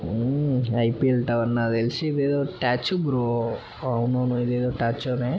Eiffel tower నాకు తెల్సి ఇది ఏదో స్టేట్యూ బ్రో అవును ఏదో ఇధి స్టేట్యూ నే.